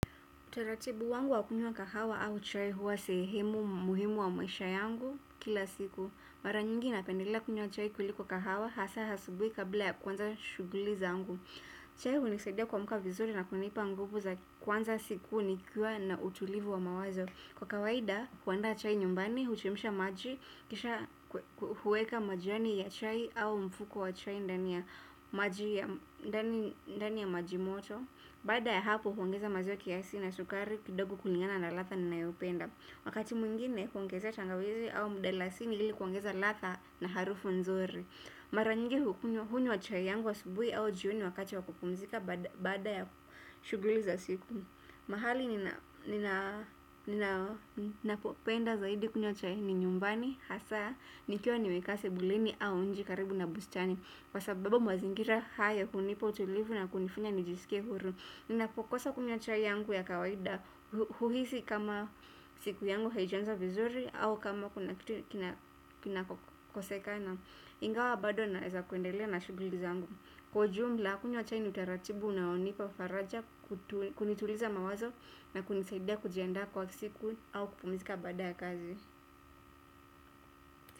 Teratibu wangu wa kunywa kahawa au chai huwa sehemu muhimu wa maisha yangu kila siku. Mara nyingi napendelea kunywa chai kuliko kahawa hasa asubuhi kabla ya kuanza shughuli zangu. Chai hunisaidia kuamka vizuri na kunipa nguvu za kuanza siku nikiwa na utulivu wa mawazo. Kwa kawaida, kuandaa chai nyumbani, huchemsha maji, kisha hueka majani ya chai au mfuko wa chai ndani ya maji ndani ya majimoto. Baada ya hapo huongeza maziwa kiasi na sukari kidogo kulingana na ladha ninayopenda. Wakati mwingine huongezea tangawizi au mdalasini ili kuongeza ladha na harufu nzuri mara nyingine hunywa chai yangu asubuhi au jioni wakati wa kupumzika baada ya shughuli za siku. Mahali ninapopenda zaidi kunywa chai ni nyumbani hasa nikiwa nimekaa sebuleni au nje karibu na bustani kwa sababu mazingira haya hunipa utulivu na kunifanya nijisikie huru ninapokosa kunywa chai yangu ya kawaida huhisi kama siku yangu haijaanza vizuri au kama kuna kitu kinakosekana ingawa bado naeza kuendelea na shughuli zangu kwa jumla kunywa chai ni utaratibu unaonipa faraja. Kunituliza mawazo na kunisaidia kujiandaa kwa siku au kupumzika baada ya kazi.